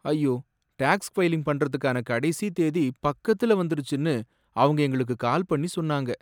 ஐயோ! Tax filing பண்றதுக்கான கடைசித் தேதி பக்கத்துல வந்திருச்சுன்னு அவங்க எங்களுக்கு கால் பண்ணி சொன்னாங்க.